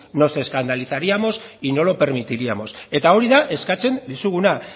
nos escandalizaríamos y no lo permitiríamos eta hori da eskatzen dizuguna